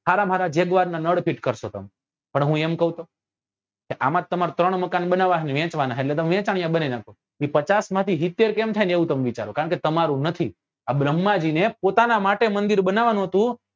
હારમ હારા માં jaguar નાં નળ ફીટ કરસો તમે પણ હું એમ કઉં તો કે આમાંથી તમારે ત્રણ મકાન બનાવવા ના હે ને વેચવા ના છે એટલે તમે વેચાણીયા બનાવી નાખો એ પચાસ માંથી સિત્તેર કેમ થાય ને એમ તમે વિચારો કારણ કે તમારું નથી આ ભ્રમ્હાં જી ને પોતાના માટે મંદિર બનવવા નું હતું